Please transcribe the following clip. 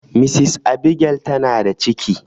Mrs Abigail ta na da ciki